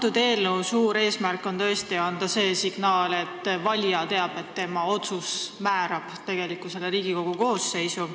Selle eelnõu suur eesmärk on anda signaal, et valija teab, et tema otsus määrab tegelikult Riigikogu koosseisu.